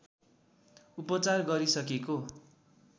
उपचार गरिसकेको